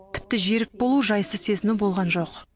тіпті жерік болу жайсыз сезіну болған жоқ